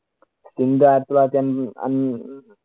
India ആയിരത്തിത്തൊള്ളായിരത്തി അന്‍~ അന്~